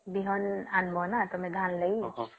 ବିହନ ଆଣିବ ନା ଧାନ ଲାଗି?